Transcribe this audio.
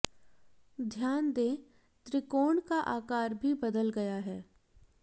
ध्यान दें त्रिकोण का आकार भी बदल गया है